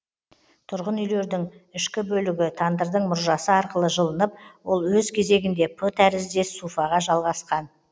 тұрғын үйлердің ішкі бөлігі тандырдың мұржасы арқылы жылынып ол өз кезегінде п тәріздес суфаға жалғасқан